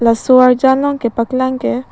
laso arjan long kepaklang ke--